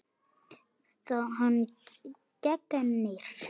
Hann gegnir.